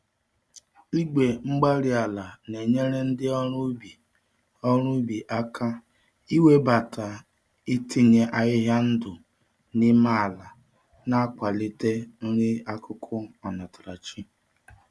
Igwe-mgbárí-ala na-enyere ndị ọrụ ubi ọrụ ubi aka iwebata itinye ahịhịa ndụ n'ime ala, na-akwalite nri-akụkụ onatarachi.